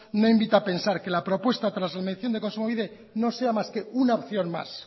no invita a pensar que la propuesta tras la de kontsumobide no sea más que una opción más